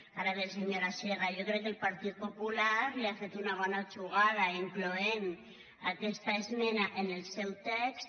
ara bé senyora sierra jo crec que el partit popular li ha fet una bona jugada incloent aquesta esmena en el seu text